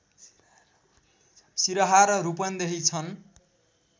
सिरहा र रूपन्देही छन्